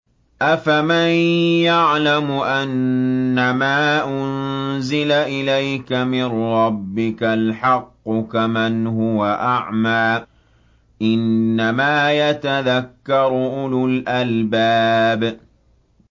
۞ أَفَمَن يَعْلَمُ أَنَّمَا أُنزِلَ إِلَيْكَ مِن رَّبِّكَ الْحَقُّ كَمَنْ هُوَ أَعْمَىٰ ۚ إِنَّمَا يَتَذَكَّرُ أُولُو الْأَلْبَابِ